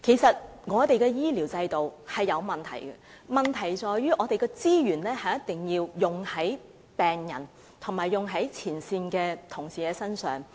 本港的醫療制度是有問題的，但問題在於資源必須用於病人及前線同事身上。